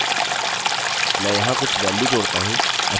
मैं यहाँ कुछ वेल्यू जोड़ता हूँ